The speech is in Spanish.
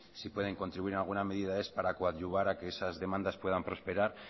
si pueden contribuir en alguna medida es para coadyuvar a que esas demandas puedan prosperar